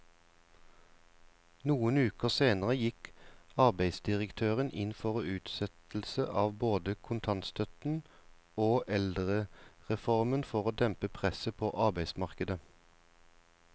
Noen uker senere gikk arbeidsdirektøren inn for utsettelse av både kontantstøtten og eldrereformen for å dempe presset på arbeidsmarkedet.